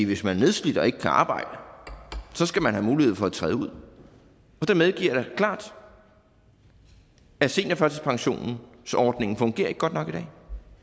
hvis man er nedslidt og ikke kan arbejde så skal man have mulighed for at træde ud jeg medgiver klart at seniorførtidspensionsordningen ikke fungerer godt nok i dag